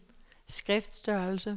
skriftstørrelse